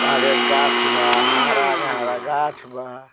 आगे गाछ बा हरा-हरा गाछ बा।